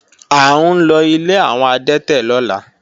À ńlọ ilé àwọn adẹ́tẹ̀ lọ́la